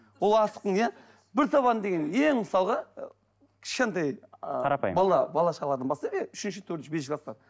ол асықтың иә бір табан деген ең мысалға ы кішкентай қарапайым бала шағадан бастайық иә үшінші төртінші бесінші кластан